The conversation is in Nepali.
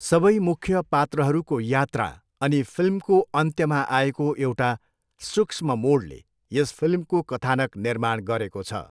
सबै मुख्य पात्रहरूको यात्रा अनि फिल्मको अन्त्यमा आएको एउटा सूक्ष्म मोडले यस फिल्मको कथानक निर्माण गरेको छ।